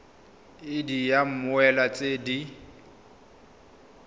id ya mmoelwa tse di